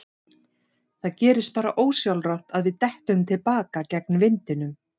Það gerist bara ósjálfrátt að við dettum til baka gegn vindinum.